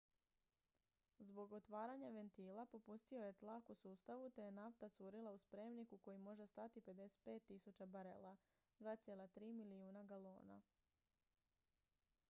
zbog otvaranja ventila popustio je tlak u sustavu te je nafta curila u spremnik u koji može stati 55.000 barela 2,3 milijuna galona